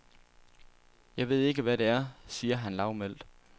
Jeg ved ikke, hvad det er, siger han lavmælt.